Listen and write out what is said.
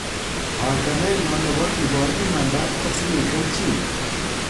"Panganenyon nebo kibor imanda kotinye kelchin."